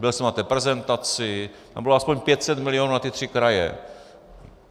Byl jsem na té prezentaci, tam bylo aspoň 500 milionů na ty tři kraje.